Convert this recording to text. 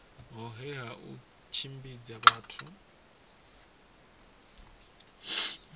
hohe ha u tshimbidza na